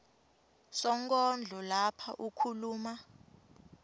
sonkondlo lapha ukhuluma